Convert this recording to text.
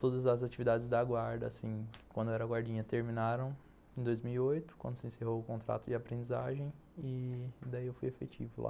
Todas as atividades da guarda, assim, quando eu era guardinha, terminaram em dois mil e oito, quando se encerrou o contrato de aprendizagem, e daí eu fui efetivo lá.